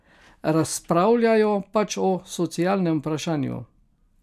Razpravljajo pač o sociološkem vprašanju.